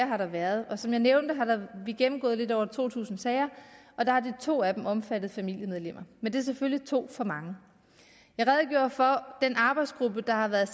har været og som jeg nævnte har vi gennemgået lidt over to tusind sager og der har de to af dem omfattet familiemedlemmer men det er selvfølgelig to for mange jeg redegjorde for den arbejdsgruppe der har været